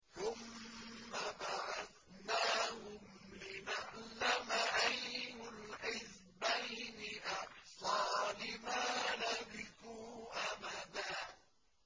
ثُمَّ بَعَثْنَاهُمْ لِنَعْلَمَ أَيُّ الْحِزْبَيْنِ أَحْصَىٰ لِمَا لَبِثُوا أَمَدًا